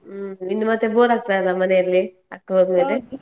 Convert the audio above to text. ಹ್ಮ್ ಇನ್ನು ಮತ್ತೆ bore ಆಗ್ತದಲ್ಲ ಮನೆಯಲ್ಲಿ ಅಕ್ಕ ಹೋದ್ಮೇಲೆ .